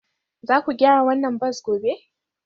Za ku gyara wannan bas gobe?